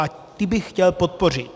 A ty bych chtěl podpořit.